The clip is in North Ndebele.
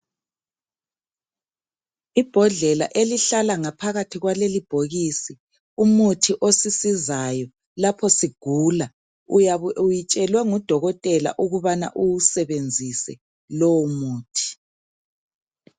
Ibhodlela elihlala ngaphakathi kwalelibhokisi umuthi osisizayo lapho sigula uyabe uyitshelwe ngudokotela ukubana uwusebenzise lowo muthi.